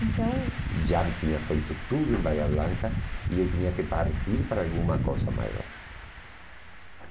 Então... Já tinha feito tudo em Bahia Blanca e eu tinha que partir para alguma coisa maior.